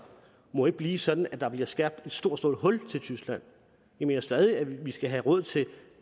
må ikke blive sådan at der bliver skabt et stort stort hul til tyskland jeg mener stadig at vi skal have råd til